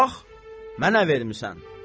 Bax, mənə vermisən.